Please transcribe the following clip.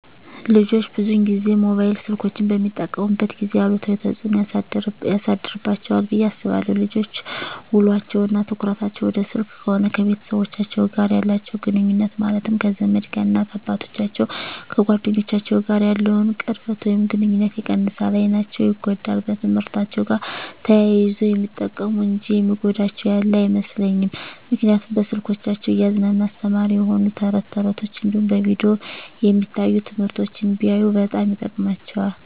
ልጆች ብዙን ጊዜ ሞባይል ስልኮችን በሚጠቀሙበት ጊዜ አሉታዊ ተፅዕኖ ያሳድርባቸዋል ብየ አስባለሁ። ልጆች ውሎቸው እና ትኩረታቸውን ወደ ስልክ ከሆነ ከቤተሰቦቻቸው ጋር ያላቸውን ግኑኙነት ማለትም ከዘመድ፣ ከእናት አባቶቻቸው፣ ከጓደኞቻቸው ጋር ያለውን ቅርበት ወይም ግኑኝነት ይቀንሳል፣ አይናቸው ይጎዳል፣ በትምህርትአቸው ጋር ተያይዞ ግን የሚጠቅሙ እንጂ የሚጎዳቸው ያለ አይመስለኝም ምክንያቱም በስልኮቻቸው እያዝናና አስተማሪ የሆኑ ተረት ተረቶች እንዲሁም በቪዲዮ የሚታዩ ትምህርቶችን ቢያዩ በጣም ይጠቅማቸዋል።